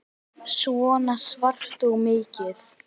Svona svart og mikið.